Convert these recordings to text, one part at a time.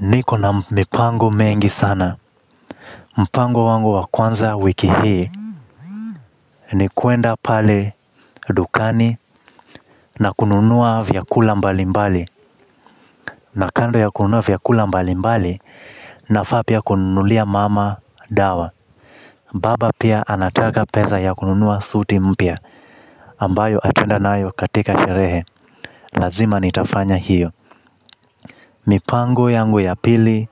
Niko na mipango mengi sana. Mpango wangu wa kwanza wiki hii ni kuenda pale dukani na kununua vyakula mbali mbali. Na kando ya kununua vyakula mbali mbali nafaa pia kununulia mama dawa. Baba pia anataka pesa ya kununua suti mpya ambayo ataenda nayo katika sherehe. Lazima nitafanya hiyo. Mipango yangu ya pili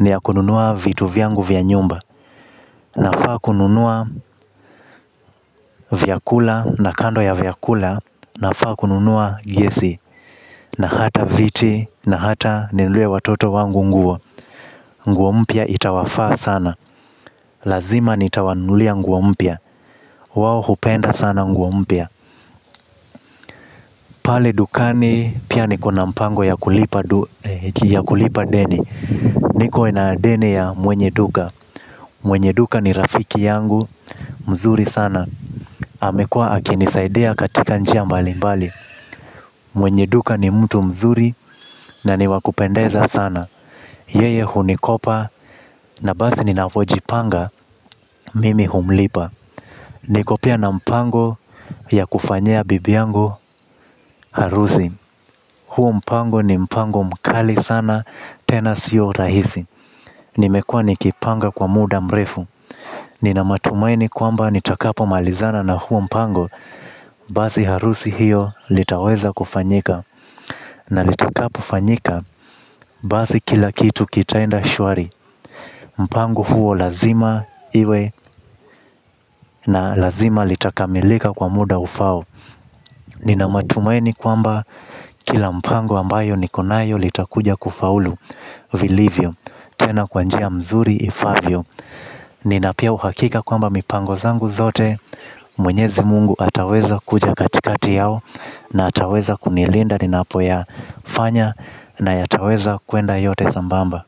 ni ya kununua vitu vyangu vya nyumba nafaa kununua vyakula na kando ya vyakula nafaa kununua gesi. Na hata viti na hata ninunulie watoto wangu nguo. Nguo mpya itawafaa sana. Lazima nitawanunulia nguo mpya. Wao hupenda sana nguo mpya. Pale dukani pia nikona mpango ya kulipa deni. Niko na deni ya mwenye duka. Mwenye duka ni rafiki yangu. Mzuri sana amekua akinisaidia katika njia mbali mbali. Mwenye duka ni mtu mzuri na ni wa kupendeza sana. Yeye hunikopa na basi ninafojipanga mimi humlipa niko pia na mpango ya kufanyia bibi yangu harusi. Huo mpango ni mpango mkali sana tena sio rahisi. Nimekua nikipanga kwa muda mrefu. Nina matumaini kwamba nitakapomalizana na huo mpango. Basi harusi hiyo litaweza kufanyika na litakapofanyika basi kila kitu kitaenda shwari. Mpango huo lazima iwe. Na lazima litakamilika kwa muda ufaao. Nina matumaini kwamba kila mpango ambayo niko nayo litakuja kufaulu Vilivyo Tena kwa njia mzuri ifaavyo nina pia uhakika kwamba mipango zangu zote Mwenyezi mungu ataweza kuja katikati yao. Na ataweza kunilinda ninapoyafanya na yataweza kuenda yote sambamba.